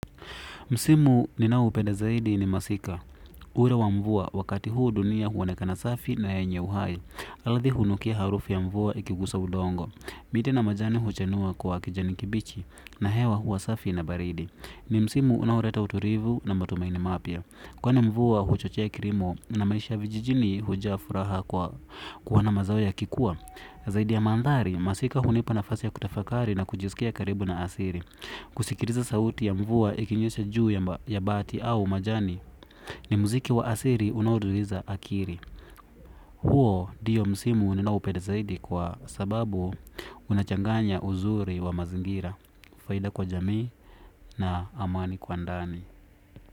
Msimu ninao upenda zaidi ni masika. Muhura wa mvua wakati huu dunia huonekana safi na yenye uhai. Ardhi hunukia harufu ya mvua ikigusa udongo. Miti na majani huchanua kwa kijani kibichi na hewa hua safi na baridi. Ni msimu unao leta utulivu na matumaini mapya. Kwani mvua huchochea kilimo na maisha vijijini hujaa furaha kwa kuona mazao yakikua zaidi ya mandhari, masika hunipa nafasi ya kutafakari na kujisikia karibu na asiri kusikiliza sauti ya mvuwa ikinyesha juu ya ma ya bati au majani ni muziki wa asiri unauduiza akiri huo ndiyo msimu ninaoupenda zaidi kwa sababu unachanganya uzuri wa mazingira faida kwa jamii na amani kwa ndani.